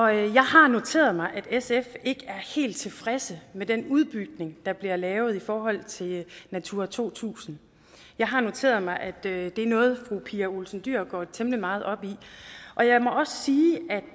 jeg har noteret mig at sf ikke er helt tilfredse med den udbygning der bliver lavet i forhold til natura to tusind jeg har noteret mig at det er noget fru pia olsen dyhr går temmelig meget op i og jeg må også sige